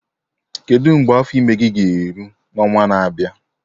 Kedu mgbe afọ ime gị ga-eru n'ọnwa na-abịa?